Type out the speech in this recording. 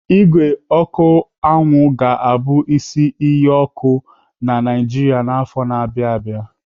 Ígwè ọkụ anwụ ga-abụ isi iyi ọkụ na Naijiria n'afọ na-abịa abịa.